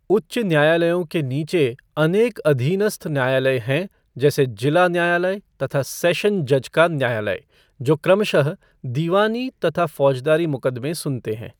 उच्च न्यायालयों के नीचे अनेक अधीनस्थ न्यायालय हैं जैसे जिला न्यायालय तथा सैशन जज का न्यायालय जो क्रमशः दीवानी तथा फौजदारी मुकदमें सुनते हैं।